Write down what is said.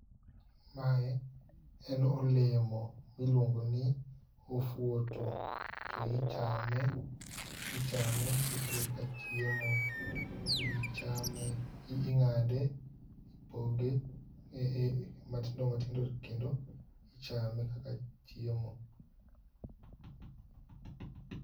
Mae en olemo miluongo ni ofuoto. To ichame, ichame ka chiemo to ji chame. Ing'ade ipoge matindo matindo kendo ichame kaka chiemo.